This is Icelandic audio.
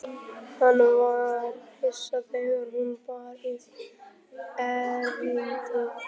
Hann var hissa þegar hún bar upp erindið.